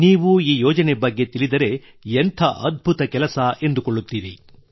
ನೀವು ಈ ಯೋಜನೆ ಬಗ್ಗೆ ತಿಳಿದರೆ ಎಂಥ ಅದ್ಭುತ ಕೆಲಸ ಎಂದುಕೊಳ್ಳುತ್ತೀರಿ